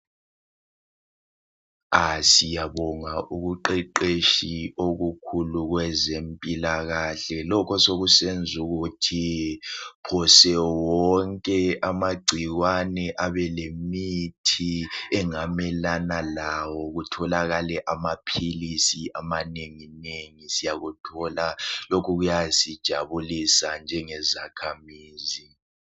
Ah siyabonga ubuqeqeshi obukhulu kwezempilakahle, lokho sekusenz' ukuthi phose wonke amagcikwane abelemithi engamelana lawo kutholakale amaphilisi amanenginengi siyakuthola lokhu kuyasijabulisa njengezakhamizi.